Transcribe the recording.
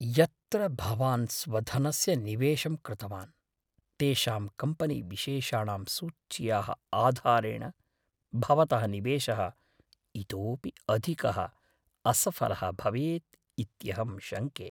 यत्र भवान् स्वधनस्य निवेशं कृतवान्, तेषां कम्पनीविशेषाणां सूच्याः आधारेण, भवतः निवेशः इतोपि अधिकः असफलः भवेत् इत्यहं शङ्के।